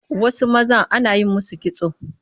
Wasu mazan ana yi musu kitso